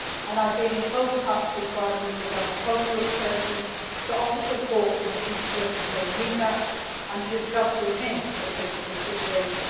I have been in close touch with Foreign Minister Davotoglu of Turkey to offer support in the future, should they need that, and to discuss with him the political situation.